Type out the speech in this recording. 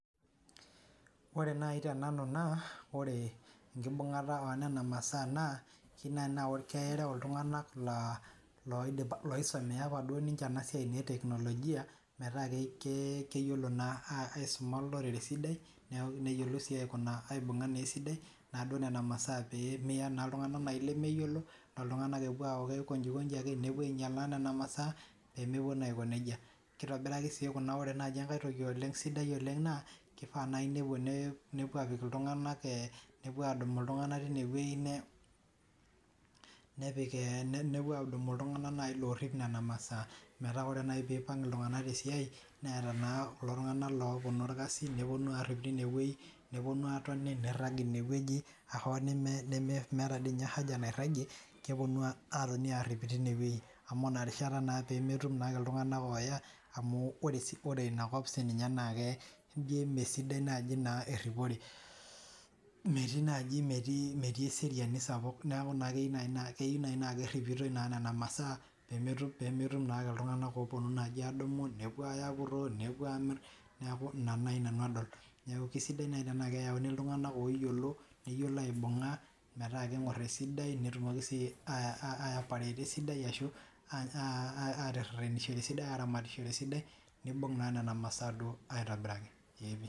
ore naaji tenanu naa keyieu naaji naa ore nena maasa ore iltung'anak loisomeya enasiai etekinolojia metaa keyiolo naa aisuma olorere esidai, neyiolo naa aibung'a nena maaasa esidai metaa ore iltung'anak kikokoji ake nepuo aing'ial nena masaa, keifaa naaji nepuo apik iltung'anak loopik nena masaa, ore naaji pee ipang' iltung'anak tesiai neetaa iltung'ak opuonu aigor nena mashinini, nepuonu arip teine weji amu ina rishata ake sii epuonu amu ore inakop ijo emesidai sii eripore, metii eseriani sapuk neeku keyieu naaji naa keripi nena masaa pee metum ake iltung'anak opuo apuroo nepuo aamir, neeku ina naaji nanu adol neeku kisidai naaji netumi iltung'anak aramatishore esidai.